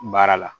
Baara la